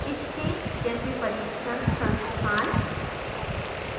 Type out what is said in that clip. इसके जैसे प्रशिक्षण संस्थान